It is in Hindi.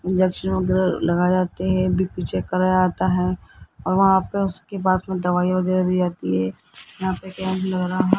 दक्षिण लगा जाते हैं कराया आता है और वहां पे उसके पास में दवाइयां वगैरा दी जाती है यहां पे कैंडल वगैरा न --